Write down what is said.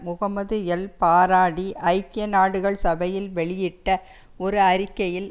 Muhammad El Baradei ஐக்கிய நாடுகள் சபையில் வெளியிட்ட ஒரு அறிக்கையில்